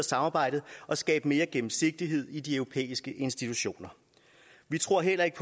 samarbejdet og skabe mere gennemsigtighed i de europæiske institutioner vi tror heller ikke